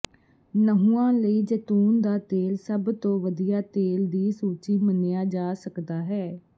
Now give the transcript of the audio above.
ਨਹੁੰਆਂ ਲਈ ਜੈਤੂਨ ਦਾ ਤੇਲ ਸਭ ਤੋਂ ਵਧੀਆ ਤੇਲ ਦੀ ਸੂਚੀ ਮੰਨਿਆ ਜਾ ਸਕਦਾ ਹੈ